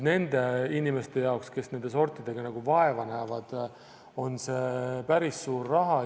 Nende inimeste jaoks, kes nende sortidega vaeva näevad, on see päris suur raha.